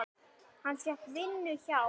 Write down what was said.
Hann fékk vinnu hjá